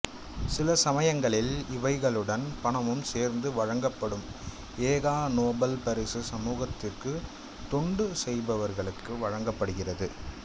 சில சமயங்களில் இவைகளுடன் பணமும் சேர்த்து வழங்கப்படும் எ கா நோபல் பரிசு சமூகத்திற்கு தொண்டு செய்தவர்களுக்கு வழங்கப்படுகிறது